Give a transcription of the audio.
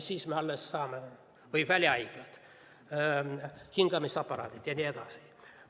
Samuti välihaiglad, hingamisaparaadid jne.